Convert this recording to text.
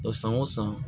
San o san